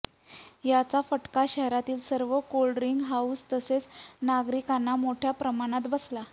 याचा फटका शहरातील सर्व कोल्ड्रींक हाऊस तसेच नागरिकांना मोठय़ा प्रमाणात बसला